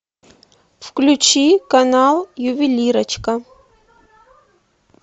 включи канал ювелирочка